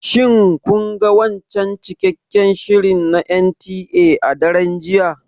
Shin kun ga wancan cikakken shirin na NTA a daren jiya?